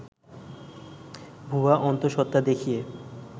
ভুয়া অন্ত:সত্ত্বা দেখিয়ে